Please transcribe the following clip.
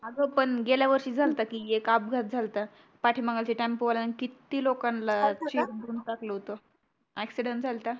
अग पण गेल्या वर्षी झालता की एक अपघात झालता पाठी मागे जे ट्यंम्पो वाल्यानी किती लोकांनला चीम्बरून टाकलं व्हतं accident झलता